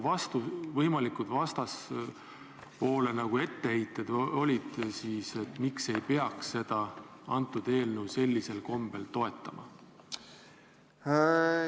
Mis need vastaspoole etteheited olid, miks ei peaks seda eelnõu sellisel kombel toetama?